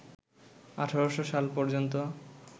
১৮০০ সাল পর্যন্ত